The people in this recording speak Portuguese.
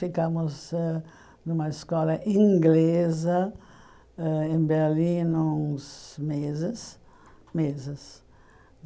Ficamos ãh numa escola inglesa ãh em Berlim uns meses, meses.